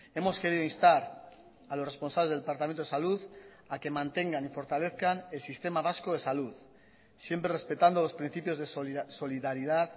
hemos querido instar a los responsables del departamento de salud a que mantengan y fortalezcan el sistema vasco de salud siempre respetando los principios de solidaridad